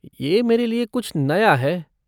ये मेरे लिये कुछ नया है।